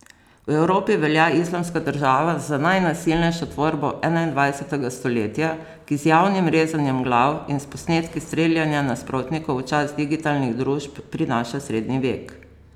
V Evropi velja Islamska država za najnasilnejšo tvorbo enaindvajsetega stoletja, ki z javnim rezanjem glav in s posnetki streljanja nasprotnikov v čas digitalnih družb prinaša srednji vek.